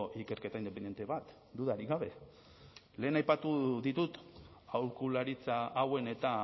ikerketa independente bat dudarik gabe lehen aipatu ditut aholkularitza hauen eta